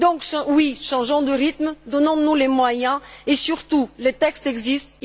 Donc, oui, changeons de rythme, donnons nous les moyens, surtout que les textes existent.